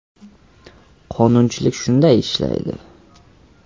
Qonunchilik shunday ishlaydi.